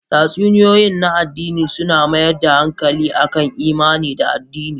Tatsuniyoyi na adini suna mayar da hankali akan imani da adini.